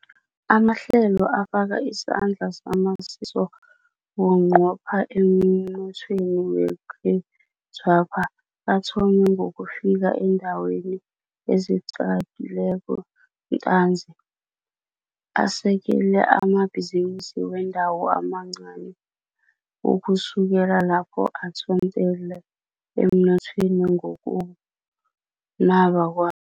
Amahlelo afaka isandla samasiso bunqopha emnothweni wekhethwapha, athome ngokufika eendaweni ezichakileko ntanzi, asekele amabhizinisi wendawo amancani, ukusukela lapho athontele emnothweni ngokunaba kwa